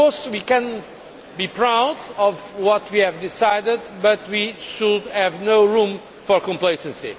We can be proud of what we have decided, but there should be no room for complacency.